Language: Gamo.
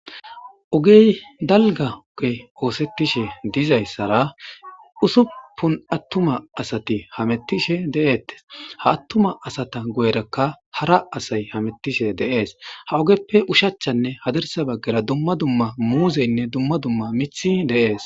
ogey dalga oge oosettishe dizayssara usupun attuma asati hamettishe de7eettes ha attuma asata goyrakka hara asay hamettishe deees ha ogeppe ushachchanne hadirsa baggera dumma dumma muuzeynne dumma dumma mithi deees